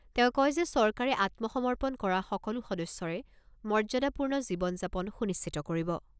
তেওঁ কয় যে চৰকাৰে আত্মসমৰ্পন কৰা সকলো সদস্যৰে মৰ্যাদাপূৰ্ণ জীৱন যাপন সুনিশ্চিত কৰিব।